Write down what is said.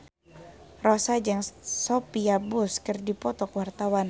Rossa jeung Sophia Bush keur dipoto ku wartawan